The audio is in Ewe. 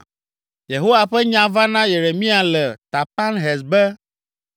Yehowa ƒe nya va na Yeremia le Tapanhes be,